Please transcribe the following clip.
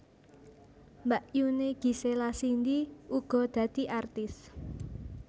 Mbakyuné Gisela Cindy uga dadi artis